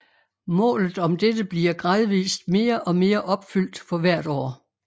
Målet om dette bliver gradvist mere og mere opfyldt for hvert år